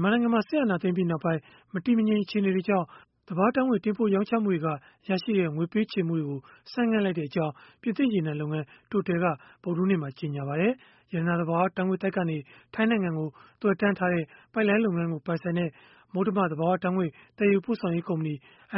မြန်မာနိုင်ငံမှာ စစ်အာဏာသိမ်းပြီးနောက်ပိုင်း မတည်မငြိမ် အခြေအနေတွေကြောင့် သဘာဝဓာတ်ငွေ့ တင်ပို့ရောင်းချမှုက ရရှိတဲ့ ငွေပေးချေမှုတွေကို ဆိုင်းငံ့လိုက်ကြောင်း ပြင်သစ်ရေနံလုပ်ငန်း Total က ဗုဒ္ဓဟူးနေ့မှာ ကြေညာလိုက်ပါတယ်။ ရတနာ သဘာဝဓာတ်ငွေ့သိုက်ကနေ ထိုင်းနိုင်ငံကို သွယ်တန်းထားတဲ့ ပိုက်လိုင်းလုပ်ငန်းကို ပိုင်ဆိုင်တဲ့ မုတ္တမ သဘာဝဓာတ်ငွေ့ သယ်ယူပို့ဆောင်ရေး ကုမ္ပဏီ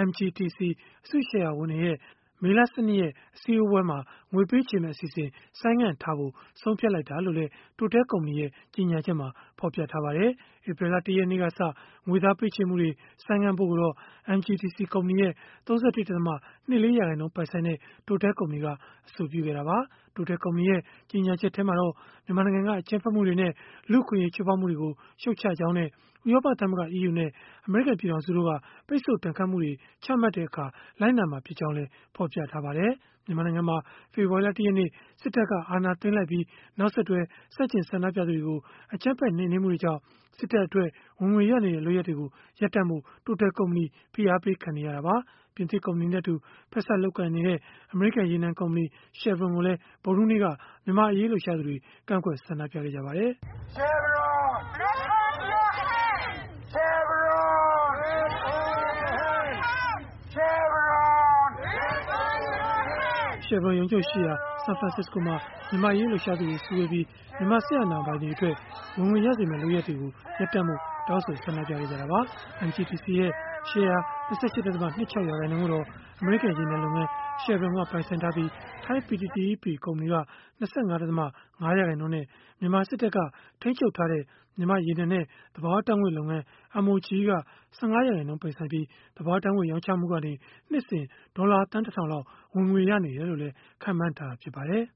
(MGTC) အစုရှယ်ယာဝင်တွေရဲ့ မေလ ၁၂ ရက်နေ့ အစည်းအဝေးမှာ ငွေပေးချေမယ့် အစီအစဉ် ဆိုင်းငံ့ထားဖို့ ဆုံးဖြတ်လိုက်တာလို့လည်း Total ကုမ္ပဏီရဲ့ ကြေညာချက်မှာ ဖော်ပြထားပါတယ်။ ဧပြီလ ၁ ရက်နေ့ကစ ငွေသားပေးချေမှုတွေ ဆိုင်းငံ့ဖို့ကိုတော့ MGTC ကုမ္ပဏီရဲ့ ၃၁.၂၄ ရာခိုင်နှုန်း ပိုင်ဆိုင်တဲ့ Total ကုမ္ပဏီက အဆိုပြုခဲ့တာပါ။ Total ကုမ္ပဏီရဲ့ ကြေညာချက်မှာတော့ မြန်မာနိုင်ငံတွင်းက အကြမ်းဖက်မှုတွေနဲ့ လူ့အခွင့်အရေး ချိုးဖောက်မှုတွေကို ရှုတ်ချကြောင်းနဲ့ ဥရောပသမဂ္ဂ (EU) နဲ့ အမေရိကန် ပြည်ထောင်စုတို့က ပိတ်ဆို့ဒဏ်ခတ်မှုတွေ ချမှတ်တဲ့အခါ လိုက်နာသွားမှာ ဖြစ်ကြောင်းလည်း ဖော်ပြထားပါတယ်။ မြန်မာနိုင်ငံမှာ ဖေဖော်ဝါရီလ ၁ ရက်နေ့ စစ်တပ်က အာဏာသိမ်းလိုက်ပြီး၊ နောက်ဆက်တွဲ ဆန့်ကျင်ဆန္ဒပြသူတွေကို အကြမ်းဖက် နှိမ်နင်းမှုတွေကြောင့် စစ်တပ်အတွက် ဝင်ငွေရနေတဲ့ လုပ်ရပ်တွေကို ရပ်တန့်ဖို့ Total ကုမ္ပဏီ ဖိအားပေးခံနေရတာပါ။ ပြင်သစ်ကုမ္ပဏီနဲ့အတူ ဖက်စပ် လုပ်ကိုင်နေတဲ့ အမေရိကန် ရေနံကုမ္ပဏီ Chevron ကိုလည်း ဗုဒ္ဓဟူးနေ့က မြန်မာ့အရေးလှုပ်ရှားသူတွေ ကန့်ကွက်ဆန္ဒပြခဲ့ကြပါတယ်။ Chevron ရုံးချုပ်ရှိရာ ဆန်ဖရစ္စကိုမှာ မြန်မာ့အရေး လှုပ်ရှားသူတွေ စုဝေးပြီး မြန်မာစစ်အာဏာပိုင်တွေအတွက် ဝင်ငွေရစေမယ့် လုပ်ရပ်တွေကို ရပ်တန့်ဖို့ တောင်းဆိုဆန္ဒပြခဲ့ကြတာပါ။ MGTC ရဲ့ ရှယ်ယာ ၂၈.၂၆ ရာခိုင်နှုန်းကိုတော့ အမေရိကန် ရေနံလုပ်ငန်း Chevron က ပိုင်ဆိုင်ပြီး၊ ထိုင်း PTTEP ကုမ္ပဏီက ၂၅.၅ ရာခိုင်နှုန်းနဲ့ မြန်မာစစ်တပ်က ထိန်းချုပ်ထားတဲ့ မြန်မာ့ရေနံနဲ့ သဘာဝဓာတ်ငွေ့လုပ်ငန်း (MOGE) က ၁၅ ရာခိုင်နှုန်း ပိုင်ဆိုင်ပြီး၊ သဘာဝဓာတ်ငွေ့ ရောင်းချမှုကနေ နှစ်စဉ်ဒေါ်လာသန်း ၁ ထောင်လောက် ဝင်ငွေရနေတယ်လို့ ခန့်မှန်းထားပါတယ်။